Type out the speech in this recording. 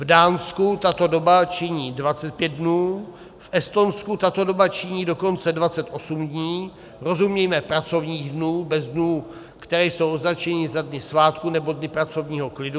V Dánsku tato doba činí 25 dnů, v Estonsku tato doba činí dokonce 28 dní, rozumíme pracovních dnů bez dnů, které jsou označeny za dny svátků nebo dny pracovního klidu.